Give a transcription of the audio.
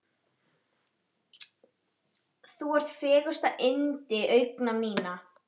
Þú ert fegursta yndi augna minna.